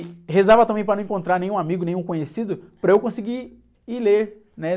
E rezava também para não encontrar nenhum amigo, nenhum conhecido, para eu conseguir, ir ler, né?